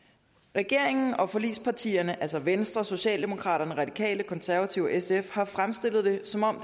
regeringen og forligspartierne altså venstre socialdemokraterne radikale konservative og sf har fremstillet det som om